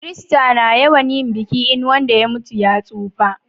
Kirista na yawan yin biki in wanda ya mutu ya tsufa